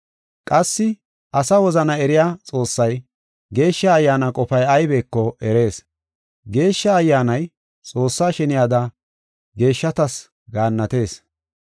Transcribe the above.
Qassi asa wozana eriya Xoossay Geeshsha Ayyaana qofay aybeko erees. Geeshsha Ayyaanay Xoossaa sheniyada geeshshatas gaannatees.